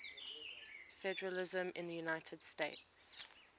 federalism in the united states